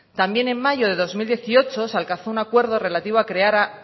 también en mayo de dos mil dieciocho se alcanzó un acuerdo relativo a crear